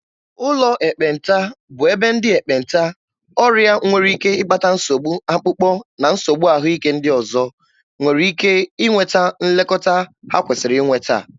Ụlọ ekpenta bụ ebe ndị ekpenta, ọrịa nwere ike ịkpata nsogbu akpụkpọ na nsogbu ahụike ndị ọzọ, nwere ike nweta nlekọta ha kwesịrị inweta.